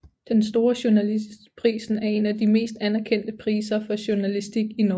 Den store journalistprisen er en af de mest anerkendte piser for Journalistik i Norge